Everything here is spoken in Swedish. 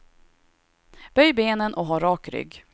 Böj benen och ha rak rygg.